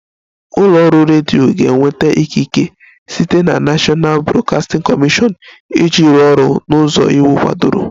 Ụlọ ọrụ redio ga-enweta ikikere site na National Broadcasting Commission iji rụọ ọrụ n'ụzọ iwu kwadoro